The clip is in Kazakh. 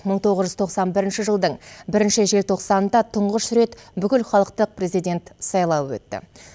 мың тоғыз жүз тоқсан бірінші жылдың бірінші желтоқсанында тұңғыш рет бүкілхалықтық президент сайлауы өтті